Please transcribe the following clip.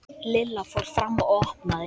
Lilla fór fram og opnaði.